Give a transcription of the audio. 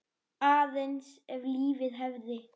Aðeins ef lífið hefði.?